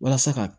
Walasa ka